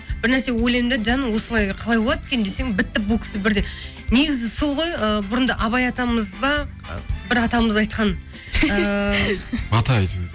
бір нәрсе ойлаймын да жаным осылай қалай болады екен десем бітті бұл кісі бірден негізі сол ғой ы бұрында абай атамыз ба бір атамыз айтқан ыыы ата әйтеуір